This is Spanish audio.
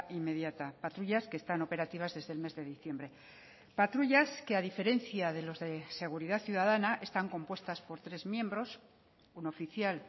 inmediata patrullas que están operativas desde el mes de diciembre patrullas que a diferencia de los de seguridad ciudadana están compuestas por tres miembros un oficial